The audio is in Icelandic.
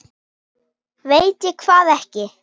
Veit ég hvað ekki?